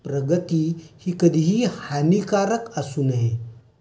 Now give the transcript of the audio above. प्रगति ही कधीही हानीकारक असू नये.